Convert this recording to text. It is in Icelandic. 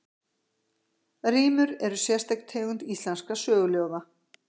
Rímur eru sérstök tegund íslenskra söguljóða.